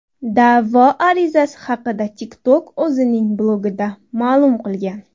Da’vo arizasi haqida TikTok o‘zining blogida ma’lum qilgan .